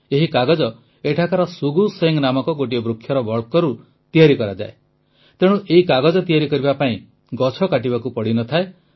ଏହି କାଗଜ ଏଠାକାର ଶୁଗୁ ଶେଙ୍ଗ ନାମକ ଗୋଟିଏ ବୃକ୍ଷର ବକ୍କଳରୁ ତିଆରି କରାଯାଏ ତେଣୁ ଏହି କାଗଜ ତିଆରି କରିବା ପାଇଁ ଗଛ କାଟିବାକୁ ପଡ଼ି ନ ଥାଏ